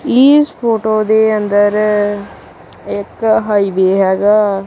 ਇਸ ਫੋਟੋ ਦੇ ਅੰਦਰ ਇੱਕ ਹਾਈਵੇ ਹੈਗਾ।